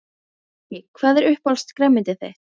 Breki: Hvað er uppáhalds grænmetið þitt?